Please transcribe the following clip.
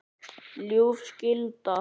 ljúf skylda.